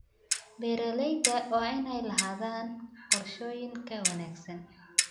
Beeralayda waa inay lahaadaan qorshooyin ka wanaagsan.